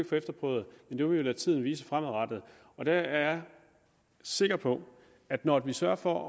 få efterprøvet men vi vil lade tiden vise det fremadrettet jeg er sikker på at når vi sørger for